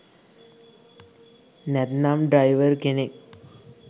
නැත්නම් ඩ්‍රැයිවර් කෙනෙක්